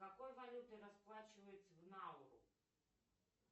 какой валютой расплачиваются в науру